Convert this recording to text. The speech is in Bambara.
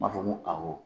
N b'a fɔ ko awɔ